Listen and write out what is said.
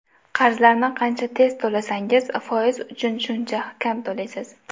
Qarzlarni qancha tez to‘lasangiz, foiz uchun shuncha kam to‘laysiz.